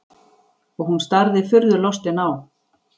Og hún starði furðulostin á-